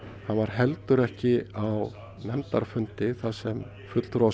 hann var heldur ekki á nefndarfundi þar sem fulltrúar